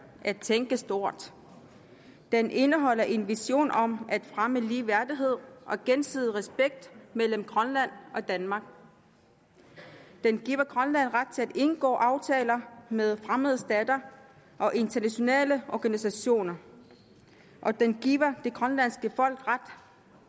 at tænke stort den indeholder en vision om at fremme ligeværdighed og gensidig respekt mellem grønland og danmark den giver grønland ret til at indgå aftaler med fremmede stater og internationale organisationer og den giver det grønlandske folk ret